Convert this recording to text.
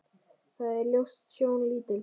Það er ljót sjón lítil.